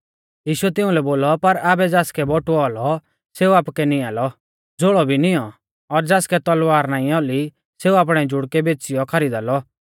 यीशुऐ तिउंलै बोलौ पर आबै ज़ासकै बटुऔ औलौ सेऊ आपुकै निआंलौ झ़ोल़ौ भी निऔं और ज़ासकै तलवार नाईं औली सेऊ आपणै जुड़कै बेच़ीयौ खरीदा लौ